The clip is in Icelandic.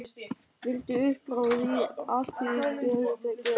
Vildi upp frá því allt fyrir Gerði gera.